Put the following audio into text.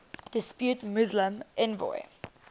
depute muslim envoy